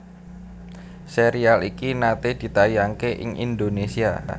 Sérial iki naté ditayangaké ing Indonésia